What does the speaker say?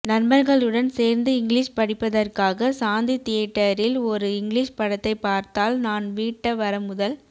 நண்பர்களுடன் சேர்ந்து இங்கிலீஸ் படிப்பதற்காக சாந்தி தியட்டரில் ஒரு இங்கிலீஸ் படத்தைப் பார்த்தால் நான் வீட்ட வர முதல்